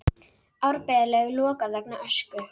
Árbæjarlaug lokað vegna ösku